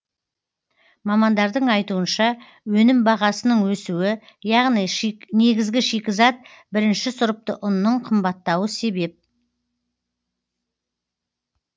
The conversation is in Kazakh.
мамандардың айтуынша өнім бағасының өсуі яғни негізгі шикізат бірінші сұрыпты ұнның қымбаттауы себеп